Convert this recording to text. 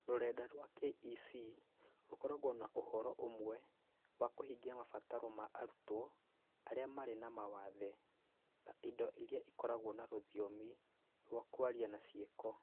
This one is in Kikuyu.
Rũrenda rwa KEC rũkoragwo na ũhoro ũmwe wa kũhingia mabataro ma arutwo arĩa marĩ na mawathe, ta indo iria ikoragwo na rũthiomi rwa kwaria na ciĩko.